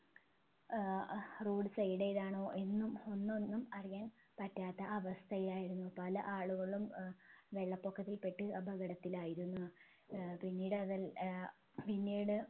ഏർ അഹ് road side ഏതാണോ എന്നും ഒന്നൊന്നും അറിയാൻ പറ്റാത്ത അവസ്ഥയായിരുന്നു പല ആളുകളും ഏർ വെള്ളപ്പൊക്കത്തിൽ പെട്ട് അപകടത്തിലായിരുന്നു ഏർ പിന്നീടതല്ല ഏർ പിന്നീട്